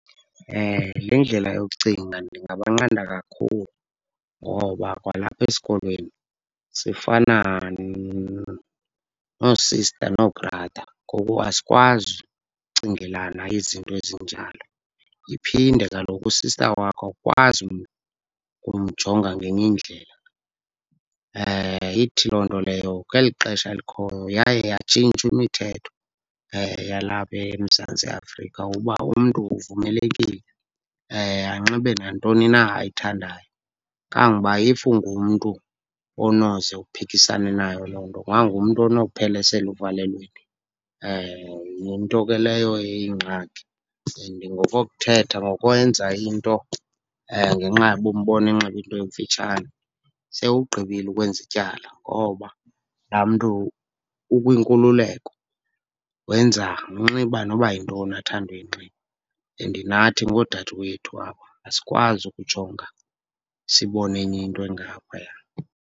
Le ndlela yokucinga ndingabanqanda kakhulu ngoba kwalapha esikolweni sifana noo-sister noo-brother, ngoku asikwazi ukucingelana izinto ezinjalo. Iphinde kaloku u-sister wakho awukwazi ukumjonga ngenye indlela. Ithi loo nto leyo kweli xesha likhoyo yaye yatshintshwa imithetho yalapha eMzantsi Afrika uba umntu uvumelekile anxibe nantoni na ayithandayo. Kangangoba if ungumntu onoze uphikisane nayo loo nto, ungangumntu onophela eseluvalelweni, yinto ke leyo eyingxaki. And ngokokuthetha ngokwenza into ngenxa yoba umbone enxibe into emfitshane, sewugqibile ukwenza ityala ngoba laa mntu ukwinkululeko, wenza unxiba noba yintoni athanda uyinxiba. And nathi ngoodade wethu aba, asikwazi ukujonga sibone enye into engaphaya.